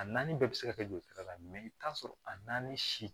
A naani bɛɛ bɛ se ka kɛ joli sira la i bɛ t'a sɔrɔ a naani si